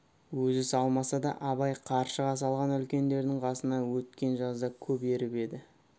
өзі салмаса да абай қаршыға салған үлкендердің қасына еткен жазда көп еріп еді